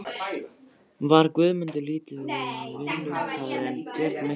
Var Guðmundur lítið við vinnu hafður en Björn miklu meira.